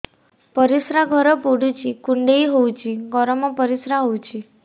ପରିସ୍ରା ଘର ପୁଡୁଚି କୁଣ୍ଡେଇ ହଉଚି ଗରମ ପରିସ୍ରା ହଉଚି